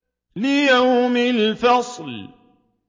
لِيَوْمِ الْفَصْلِ